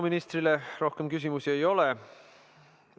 Ministrile rohkem küsimusi ei ole.